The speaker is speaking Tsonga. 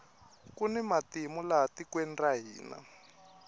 kuni matimu laha tikweni ra hina